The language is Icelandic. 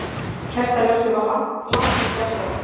Kertaljósið var langtum bjartara.